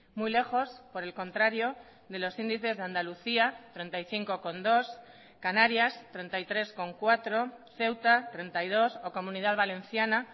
muy lejos por el contrario de los índices de andalucía treinta y cinco coma dos canarias treinta y tres coma cuatro ceuta treinta y dos o comunidad valenciana